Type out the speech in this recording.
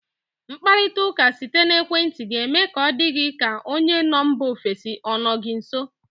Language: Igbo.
Mkparita ụka site n'ekwenti ga eme ka ọ dị ka onye nọ mba ofesi ọ nọ gị nso.